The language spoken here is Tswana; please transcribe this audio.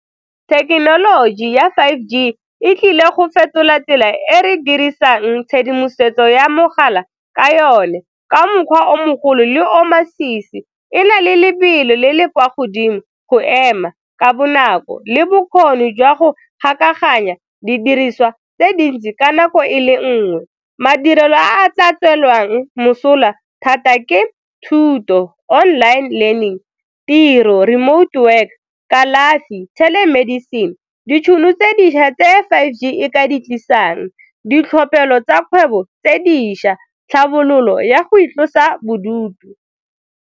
Thekenoloji ya five G e tlile go fetola tsela e re dirisang tshedimosetso ya mogala ka yone ka mokgwa o mogolo le o masisi, e na le lebelo le le kwa godimo go ema ka bonako le bokgoni jwa go didiriswa tse dintsi ka nako e le nngwe. Madirelo a a tla tswelelang mosola thata ke thuto online learning, tiro remote work, kalafi telemedicine. Ditšhono tse dišwa tse five G e ka di tlisang, ditlhophelo tsa kgwebo tse dišwa, tlhabololo ya go itlosa bodutu.